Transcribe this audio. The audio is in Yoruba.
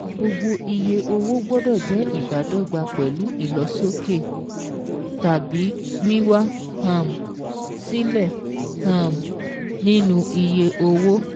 Gbogbo iye owó gbọ́dọ̀ jẹ́ ìbádọ́gba pẹ̀lú ìlosókè (tàbí wíwá um sílẹ̀) um nínú iye owó